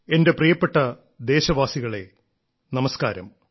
എന്റെ പ്രിയപ്പെട്ട ദേശവാസികളെ നമസ്കാരം